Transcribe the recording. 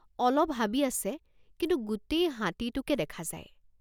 অলপ হাবি আছে কিন্তু গোটেই হাতীটোকে দেখা যায়।